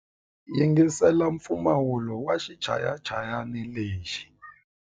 Yingisela mpfumawulo wa xichayachayani lexi.